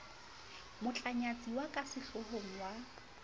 motlanyatsi ya ka sehlohong wa